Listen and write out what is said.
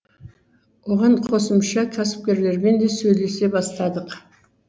оған қосымша кәсіпкерлермен де сөйлесе бастадық